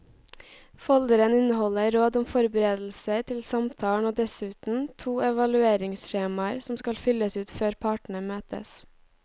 Folderen inneholder råd om forberedelser til samtalen og dessuten to evalueringsskjemaer som skal fylles ut før partene møtes.